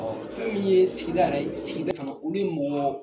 Fɛn min ye sigida yɛrɛ, sigida fana olu ye mɔgɔ